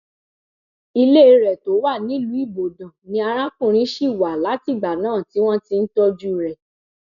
ilé rẹ tó wà nílùú ibodàn ni arákùnrin ṣì wà látìgbà náà tí wọn ti ń tọjú rẹ